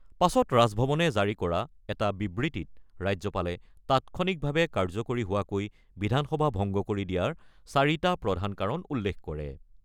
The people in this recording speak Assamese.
পাছত ৰাজভৱনে জাৰি কৰা এখন বিবৃতিত ৰাজ্যপালে তাৎক্ষণিকভাৱে কাৰ্যকৰী হোৱাকৈ বিধানসভা ভংগ কৰি দিয়াৰ চাৰিটা প্ৰধান কাৰণ উল্লেখ কৰে।